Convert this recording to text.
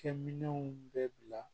Kɛminɛnw bɛ bila